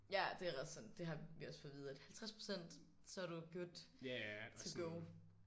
Ja det er ret sådan det har vi også fået at vide at 50% så er du good to go